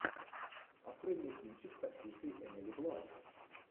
открой мне кинчик с актрисой эмили блант